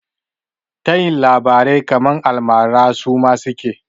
Tayin labarai kaman almara suma suke?